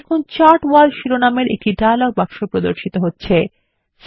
দেখুন chart wall শিরোনামের একটি ডায়লগ বক্স প্রদর্শিত হচ্ছে